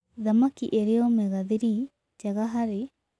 Thamakĩ ĩrĩ omega-3 njega harĩ